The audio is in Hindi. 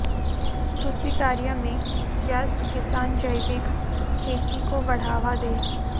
कृषि कार्य में व्यस्त किसान जैविक खेती को बढ़ावा दें